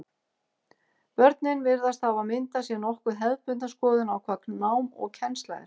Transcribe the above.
Börnin virðast hafa myndað sér nokkuð hefðbundna skoðun á hvað nám og kennsla er.